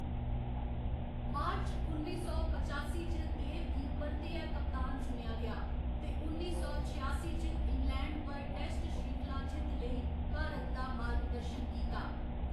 मार्च उन्नी सौ पचासी च देव गी परतियै कप्तान चुनेआ गेआ ते उन्नी सौ छेआसी च इंग्लैंड पर टेस्ट श्रृंखला जित्त लेई भारत दा मार्गदर्शन कीता।